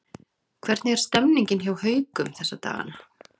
Hvernig er stemningin hjá Haukum þessa dagana?